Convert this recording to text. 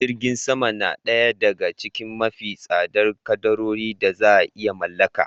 Jirgin sama na daya daga cikin mafi tsadar kadarorin da za iya mallaka